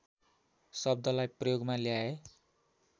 शब्दलाई प्रयोगमा ल्याए